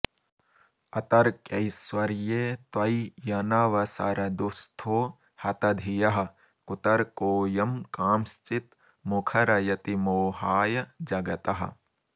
अतर्क्यैश्वर्ये त्वय्यनवसर दुःस्थो हतधियः कुतर्कोऽयं कांश्चित् मुखरयति मोहाय जगतः